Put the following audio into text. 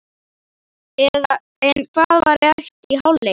En hvað var rætt í hálfleik?